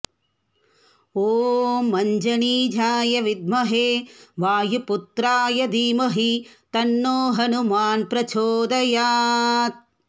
ॐ अञ्जनीजाय विद्महे वायुपुत्राय धीमहि तन्नो हनुमान् प्रचोदयात्